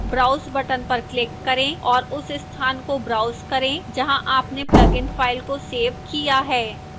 browse button पर click करें और उस स्थान को browse करें जहाँ आपने plugin फ़ाइल को सेव किया है